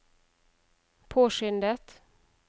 påskyndet